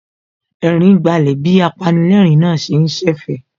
Ẹ̀rín gbálẹ̀ bí apanilẹ́ẹ̀rín náà ṣe ń ṣẹ̀fẹ̀